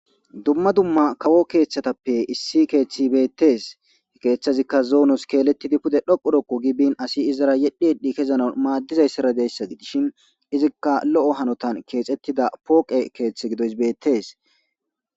dumma dumma kawo keeththatappe issi keeththi beettees he keeththazikka zoonos keeletidi pude dhoqu dhoqo gibin asi izara yedhi yedhi kezno maaddizayssaradeyssa gidishin izikka lo'o hanotan keexettida pooqe keeththe gidoys beettees